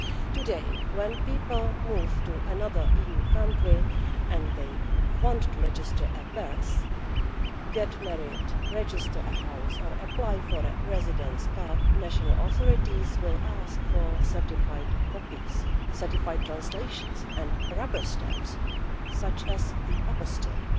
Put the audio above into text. Today, when people move to another EU country and they want to register a birth, get married, register a house, or apply for a residence card, the national authorities will ask for certified copies, certified translations and rubber stamps such as the apostille.